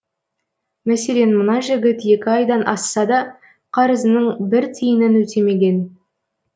мәселен мына жігіт екі айдан асса да қарызының бір тиынын өтемеген